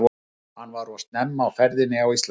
Hann var of snemma á ferðinni á Íslandi.